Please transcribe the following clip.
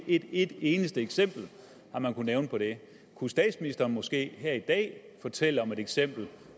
ikke et eneste eksempel har man kunnet nævne på det kunne statsministeren måske her i dag fortælle om et eksempel